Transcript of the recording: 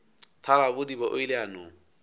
thalabodiba o ile a no